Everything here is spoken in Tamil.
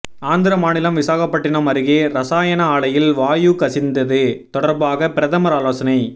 ஆந்திர மாநிலம் விசாகப்பட்டினம் அருகே ரசாயன ஆலையில் வாயு கசிந்தது தொடர்பாக பிரதமர் ஆலோசனை